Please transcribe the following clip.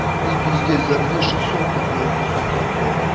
ты пиздец за две шестьсот тут нахуй сука блять